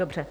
Dobře.